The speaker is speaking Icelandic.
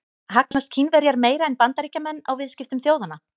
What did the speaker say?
Hagnast Kínverjar meira en Bandaríkjamenn á viðskiptum þjóðanna?